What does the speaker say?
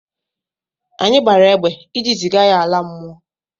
Anyi gbara egbe iji ziga ya ala mmụọ.